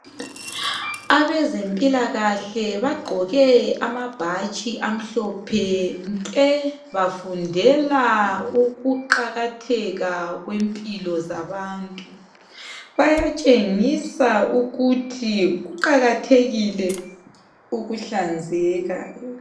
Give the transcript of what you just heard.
Abezempilakahle bagqoke amabhatshi amhlophe nke bafundela ukuqakatheka kwempilo zabantu. Bayatshengisa ukuthi kuqakathekile ukuhlanzeka.